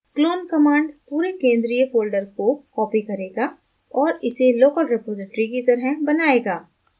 clone command पूरे केंद्रीय folder को copy करेगा और इसे local रिपॉज़िटरी की तरह बनाएगा